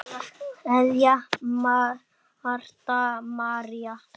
Kveðja, Marta María